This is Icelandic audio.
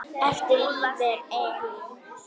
ESA getur átt við